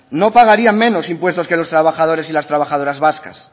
no pagarían menos impuestos que los trabajadores y las trabajadoras vascas